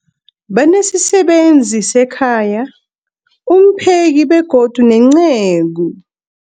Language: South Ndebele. Banesisebenzi sekhaya, umpheki, begodu nenceku.